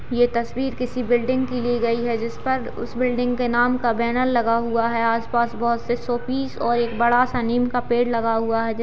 ये तस्वीर किसी बिल्डिंग की ली गई है जिस पर उस बिल्डिंग के नाम का बैनर लगा हुआ है। आस-पास बहोत से शोपीस और एक बड़ा-सा नीम का पेड़ लगा हुआ--